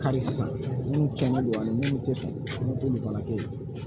Kari sisan minnu kɛ man di an ye minnu tɛ sɔn olu fana kɛ ye